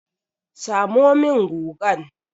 Samo min gugan!